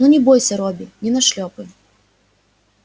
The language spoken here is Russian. ну не бойся робби не нашлёпаю